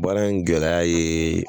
Baara in gɛlɛya ye